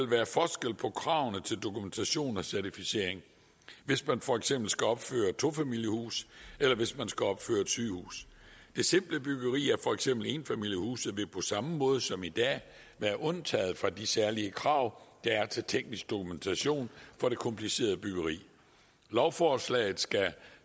være forskel på kravene til dokumentation og certificering hvis man for eksempel skal opføre tofamiliehuse eller hvis man skal opføre et sygehus det simple byggeri for eksempel enfamiliehuse vil på samme måde som i dag være undtaget fra de særlige krav der er til teknisk dokumentation for det komplicerede byggeri lovforslaget skal